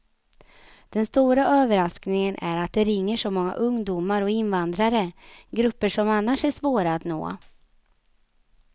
Den stora överraskningen är att det ringer så många ungdomar och invandrare, grupper som annars är svåra att nå.